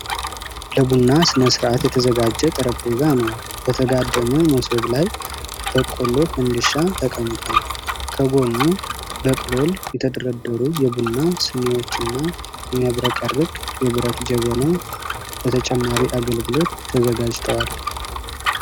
ለቡና ሥነ-ሥርዓት የተዘጋጀ ጠረጴዛ ነው። በተጋደመ በሶብ ላይ በቆሎ (ፈንዲሻ) ተቀምጧል። ከጎኑ በቅሎል የተደረደሩ የቡና ስኒዎችና የሚያብረቀርቅ የብረት ጀበና ለተጨማሪ አገልግሎት ተዘጋጅተዋል።